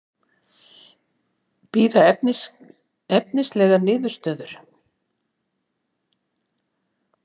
Bíða efnislegrar niðurstöðu